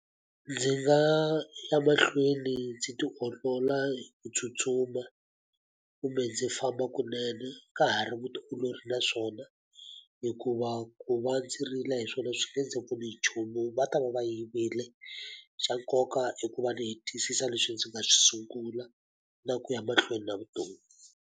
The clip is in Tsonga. Ndzi nga ya mahlweni ndzi tiolola ku tsutsuma, kumbe ndzi famba kunene. Ka ha ri vutiolori na swona. Hikuva ku va ndzi rila hi swona swi nge ndzi pfuni nchumu, va ta va va yivile. Xa nkoka i ku va ndzi hetisisa leswi ndzi nga swi sungula, na ku ya mahlweni na vutomi.